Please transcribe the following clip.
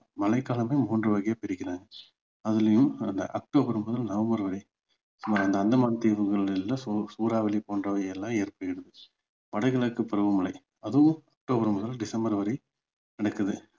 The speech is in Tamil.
மழை காலமே மூன்று வகையா பிரிக்கிறாங்க அதுலயும் அந்த அக்டோபர் முதல் நவம்பர் வரை நம்ம அந்தமான தீவுகளிலல சூ~ சூறாவளி போன்றவை எல்லாம் ஏற்படுது வடகிழக்கு பருவமழை அதுவும் அக்டோபர் முதல் டிசம்பர் வரை நடக்குது